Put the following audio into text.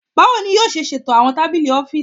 Bawo ni yoo ṣe ṣeto awọn tabili ọfiisi?